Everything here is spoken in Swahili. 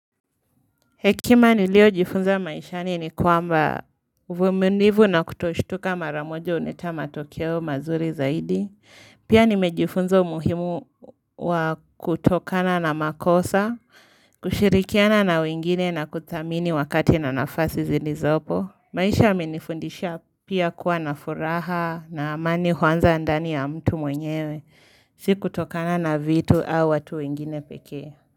Hekima niliojifunza maishani ni kwamba vumiliivu na kutoshtuka maramojo huleta matokeo mazuri zaidi. Pia nimejifunza umuhimu wa kutokana na makosa, kushirikiana na wengine na kuthamini wakati na nafasi zilizopo. Maisha imenifundisha pia kuwa na furaha na amani huanza ndani ya mtu mwenyewe, si kutokana na vitu au watu wengine peke.